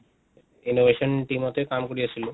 innovation team তে কাম কৰি আছিলোঁ।